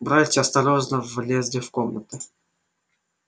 братья осторожно влезли в комнату